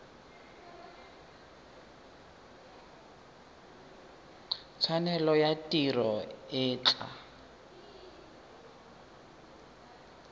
tshwanelo ya tiro e tla